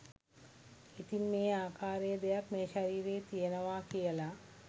ඉතින් මේ ආකාරයේ දෙයක් මේ ශරීරයේ තියෙනවා කියල